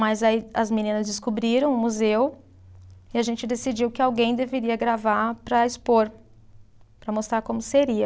Mas aí as meninas descobriram o museu e a gente decidiu que alguém deveria gravar para expor, para mostrar como seria.